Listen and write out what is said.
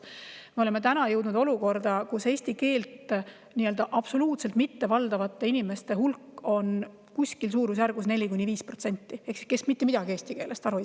Me oleme jõudnud olukorda, kus eesti keelt absoluutselt mittevaldavate inimeste hulk – nende, kes mitte midagi eesti keelest aru ei saa – on suurusjärgus 4–5%.